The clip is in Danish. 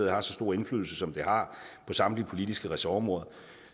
har så stor indflydelse som det har på samtlige politiske ressortområder